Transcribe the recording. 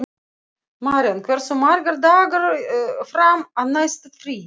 Maríon, hversu margir dagar fram að næsta fríi?